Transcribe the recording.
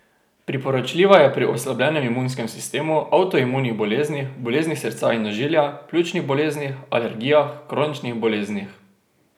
Priporočljiva je pri oslabljenem imunskem sistemu, avtoimunskih boleznih, boleznih srca in ožilja, pljučnih boleznih, alergijah, kroničnih boleznih ...